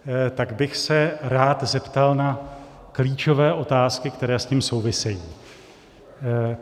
Tak bych se rád zeptal na klíčové otázky, které s tím souvisejí.